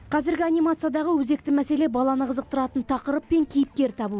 қазіргі анимациядағы өзекті мәселе баланы қызықтыратын тақырып пен кейіпкер табу